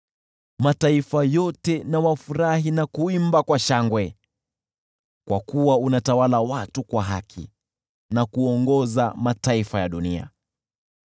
Mataifa yote wafurahi na kuimba kwa shangwe, kwa kuwa unatawala watu kwa haki na kuongoza mataifa ya dunia.